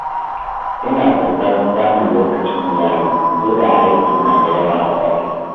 Ina ƙoƙarin samun lokacin iyali koda aiki na da yawa a ofis.